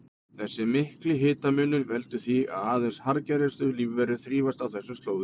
Þessi mikli hitamunur veldur því að aðeins harðgerustu lífverur þrífast á þessum slóðum.